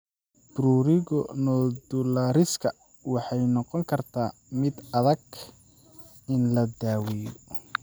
Prurigo nodulariska waxay noqon kartaa mid adag in la daweeyo.